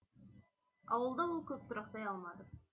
ауылда ол көп тұрақтай алмады